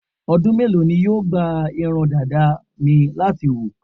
Ọdú mélòó ni yóò gba irun dàda mi láti hù?